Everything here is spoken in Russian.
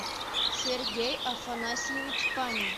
сергей афанасьевич панин